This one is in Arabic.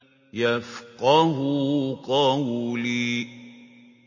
يَفْقَهُوا قَوْلِي